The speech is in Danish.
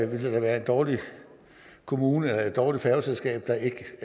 være en dårlig kommune eller et dårligt færgeselskab der ikke